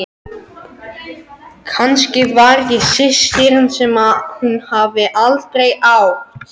Kannski var ég systirin sem hún hafði aldrei átt.